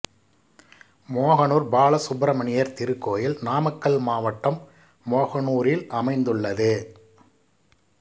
மோகனூர் பாலசுப்பிரமணியர் திருக்கோயில் நாமக்கல் மாவட்டம் மோகனூர் ல் அமைந்துள்ளது